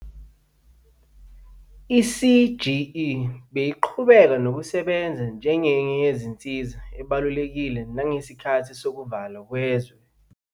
I-CGE beyiqhubeka nokusebenza njengenye yensiza ebalulekile nangesikhathi sokuvalwa kwezwe.